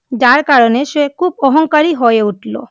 যার কারণে সেই খুব অহংকারী হয়ে উঠল!